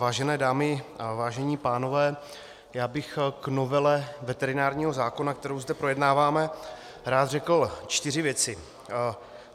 Vážené dámy a vážení pánové, já bych k novele veterinárního zákona, kterou zde projednáváme, rád řekl čtyři věci.